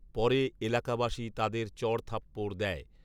পরে এলাকাবাসী তাদের চড়থাপ্পড় দেয়